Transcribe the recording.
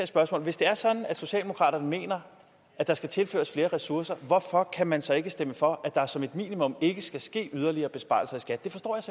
spørgsmål hvis det er sådan at socialdemokraterne mener at der skal tilføres flere ressourcer hvorfor kan man så ikke stemme for at der som et minimum ikke skal ske yderligere besparelser i skat